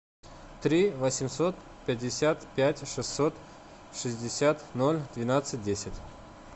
три восемьсот пятьдесят пять шестьсот шестьдесят ноль двенадцать десять